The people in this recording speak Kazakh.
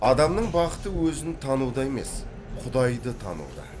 адамның бақыты өзін тануда емес құдайды тануда